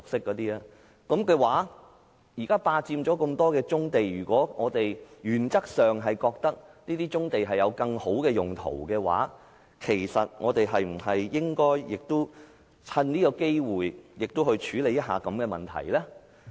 在這情況下，業界現時霸佔了那麼多棕地，如果我們在原則上覺得這些棕地可以有更好的用途，我們是否應趁此機會處理一下這個問題呢？